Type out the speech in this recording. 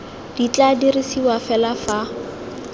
di tla dirisiwa fela fa